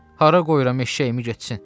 Hara qoyuram eşşəyimi getsin?